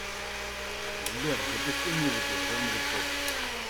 сбер запусти музыку в жанре поп